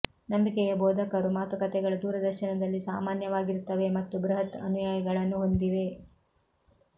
ನಂಬಿಕೆಯ ಬೋಧಕರು ಮಾತುಕತೆಗಳು ದೂರದರ್ಶನದಲ್ಲಿ ಸಾಮಾನ್ಯವಾಗಿರುತ್ತವೆ ಮತ್ತು ಬೃಹತ್ ಅನುಯಾಯಿಗಳನ್ನು ಹೊಂದಿವೆ